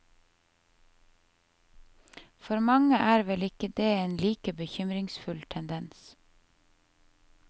For mange er vel ikke det en like bekymringsfull tendens.